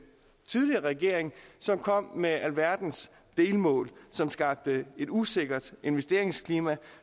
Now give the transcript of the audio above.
tidligere regering som kom med alverdens delmål som skabte et usikkert investeringsklima